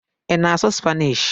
Ị na-asụ Spanishi?